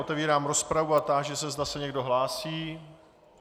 Otevírám rozpravu a táži se, zda se někdo hlásí.